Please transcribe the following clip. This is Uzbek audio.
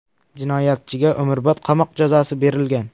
Jinoyatchiga umrbod qamoq jazosi berilgan.